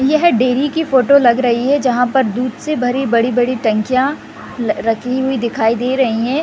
यह डेरी की फोटो लग रही है जहां पर दुध से भरे बड़ी बड़ी टंकिया ल रखी हुई दिखाई दे रही है।